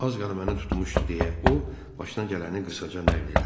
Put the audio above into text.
Az qala məni tutmuşdu deyə o, başına gələni qısaca nəql elədi.